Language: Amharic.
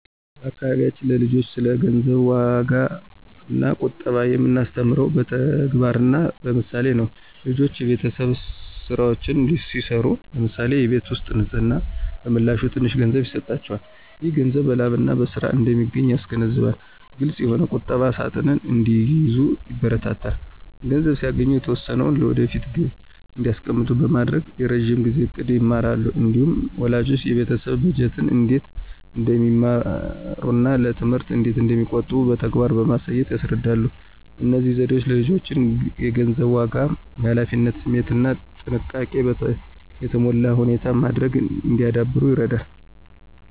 በአካባቢያችን ለልጆች ስለ ገንዘብ ዋጋና ቁጠባ የምናስተምረው በተግባርና በምሳሌ ነው። ልጆች የቤተሰብ ሥራዎችን ሲሠሩ (ለምሳሌ የቤት ውስጥ ንፅህና) በምላሹ ትንሽ ገንዘብ ይሰጣቸዋል። ይህ ገንዘብ በላብና በሥራ እንደሚገኝ ያስገነዝባል። ግልፅ የሆነ ቁጠባ ሣጥን እንዲይዙ ይበረታታሉ። ገንዘብ ሲያገኙ የተወሰነውን ለወደፊት ግብ እንዲያስቀምጡ በማድረግ የረዥም ጊዜ ዕቅድን ይማራሉ። እንዲሁም ወላጆች የቤተሰብ በጀትን እንዴት እንደሚመሩና ለትምህርት እንዴት እንደሚቆጥቡ በተግባር በማሳየት ያስረዳሉ። እነዚህ ዘዴዎች ልጆች የገንዘብን ዋጋ፣ የኃላፊነት ስሜትና ጥንቃቄ የተሞላበት ውሳኔ ማድረግ እንዲያዳብሩ ይረዳሉ።